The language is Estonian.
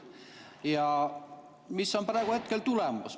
Ja mis on praegu tulemus?